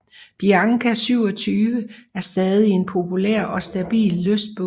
Bianca 27 er stadig en populær og stabil lystbåd